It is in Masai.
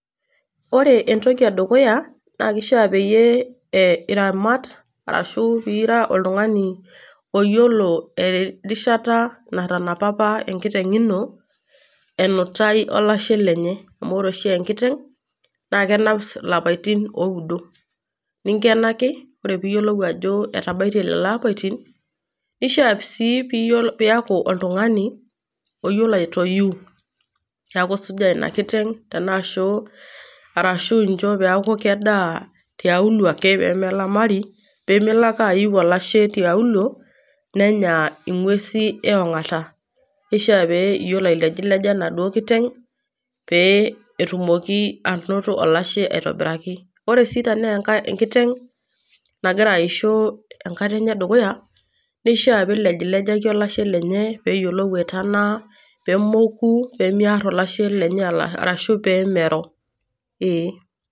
ore entoki edukuya naa keishaa peyie iramat arashu pee ira oltungani, oyiolo erishata natanapa apa enkiteng ino enutai olashe lenye. amu ore oshi enkiteng, naa kenap ilapaitin ooudo. ninkenaki, ore pee iyiolou ajo etabaitie lelo apaitin, kishaa sii pee iaku oltungani, oyiolo aitoyu. neeku isujaa ina kiteng arashu incho peeku kedaa tiaulo ake pee melamari. pee melo ake aiu olashe tiaulo ningua nenya nguesin eongota. kisha pe iyiolo ailejileja enaduoo kiteng pee etumoki anoto olashe aitobiraki. ore sii tenaa enkiteng nagira aisho, enkata enye edukuya, kishaa pee ilejilejaki olashe lenye. pee eyiolou aitanaa, pee mou pee mear olashe lenye arashu pee mero.ee